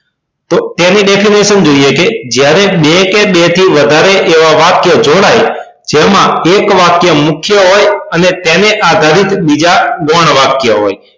તેની definition જોઈએ કે જ્યારે બે કે બેથી વધારે એવા વાક્ય જોડાય જેમાં એક વાક્ય મુખ્ય હોય અને તેને આધારિત બીજા ગૌણ વાક્ય હોય